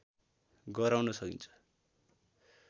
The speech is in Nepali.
गराउन सकिन्छ